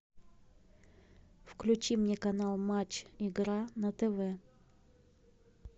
включи мне канал матч игра на тв